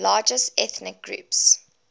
largest ethnic groups